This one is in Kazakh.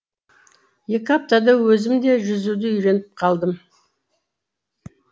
екі аптада өзім де жүзуді үйреніп қалдым